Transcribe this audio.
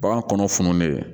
Bagan kɔnɔ fununnen